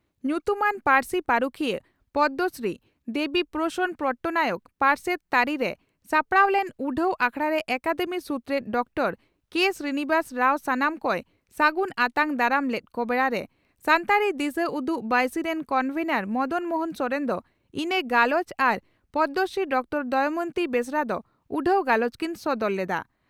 ᱧᱩᱛᱩᱢᱟᱱ ᱯᱟᱹᱨᱥᱤ ᱯᱟᱹᱨᱩᱠᱷᱤᱭᱟᱹ ᱯᱚᱫᱽᱢᱚᱥᱨᱤᱫᱮᱵᱤ ᱯᱨᱚᱥᱚᱱᱚ ᱯᱚᱴᱱᱟᱭᱮᱠ ᱯᱟᱨᱥᱮᱛ ᱛᱟᱹᱨᱤᱨᱮ ᱥᱟᱯᱲᱟᱣ ᱞᱮᱱ ᱩᱰᱷᱟᱹᱣ ᱟᱠᱷᱲᱟᱨᱮ ᱟᱠᱟᱫᱮᱢᱤ ᱥᱩᱛᱨᱮᱛ ᱰᱚᱠᱴᱚᱨᱹ ᱠᱮᱹ ᱥᱨᱤᱱᱤᱵᱷᱟᱥ ᱨᱟᱣ ᱥᱟᱱᱟᱢ ᱠᱚᱭ ᱥᱟᱹᱜᱩᱱ ᱟᱛᱟᱝ ᱫᱟᱨᱟᱟᱢ ᱞᱮᱫ ᱠᱚ ᱵᱮᱲᱟᱨᱮ ᱥᱟᱱᱛᱟᱲᱤ ᱫᱤᱥᱟᱹ ᱩᱫᱩᱜ ᱵᱟᱹᱭᱥᱤ ᱨᱤᱱ ᱠᱚᱱᱵᱷᱮᱱᱚᱨ ᱢᱚᱫᱚᱱ ᱢᱚᱦᱚᱱ ᱥᱚᱨᱮᱱ ᱫᱚ ᱤᱛᱟᱹ ᱜᱟᱞᱚᱪ ᱟᱨ ᱯᱚᱫᱽᱢᱚᱥᱨᱤ ᱰᱚᱠᱴᱚᱨᱹ ᱫᱚᱢᱚᱭᱚᱱᱛᱤ ᱵᱮᱥᱨᱟ ᱫᱚ ᱩᱰᱷᱟᱹᱣ ᱜᱟᱞᱚᱪ ᱠᱤᱱ ᱥᱚᱫᱚᱨ ᱞᱮᱫᱼᱟ ᱾